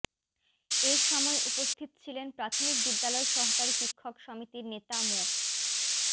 এ সময় উপস্থিত ছিলেন প্রাথমিক বিদ্যালয় সহকারী শিক্ষক সমিতির নেতা মো